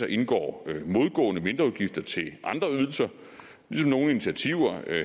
indgår modgående mindreudgifter til andre ydelser ligesom nogle initiativer